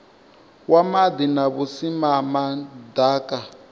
wa maḓi na vhusimama ḓaka